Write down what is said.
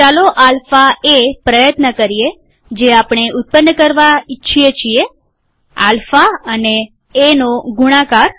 ચાલો આલ્ફા એ પ્રયત્ન કરીએ જે આપણે ઉત્પન્ન કરવા ઈચ્છીએ છીએ આલ્ફા અને એનો ગુણાકાર